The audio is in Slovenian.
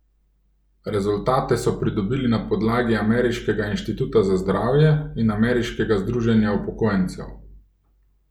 Rezultate so pridobili na podlagi ameriškega inštituta za zdravje in ameriškega združenja upokojencev.